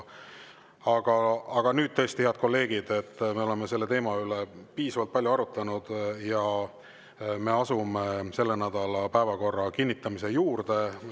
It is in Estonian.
Aga nüüd tõesti, head kolleegid, me oleme selle teema üle piisavalt palju arutanud ja me asume selle nädala päevakorra kinnitamise juurde.